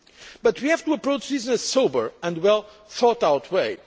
But we have to approach this in a sober and well thought out way.